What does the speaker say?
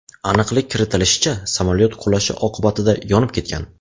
Aniqlik kiritlishicha, samolyot qulashi oqibatida yonib ketgan.